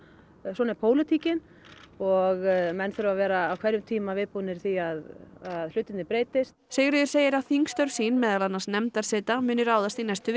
svona er pólitíkin og menn þurfa að vera á hverjum tíma viðbúnir því að hlutirnir breytist Sigríður segir að þingstörf sín meðal annars nefndarseta muni ráðast í næstu